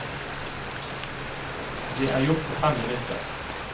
Det er gjort på fem minutter.